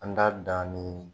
An t'a dan nin